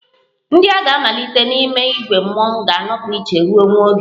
Ndị a ga-amalite n'ime ìgwè mmọnwụ ga-anọpụ iche ruo nwa oge